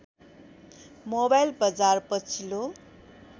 mobile बजार पछिल्लो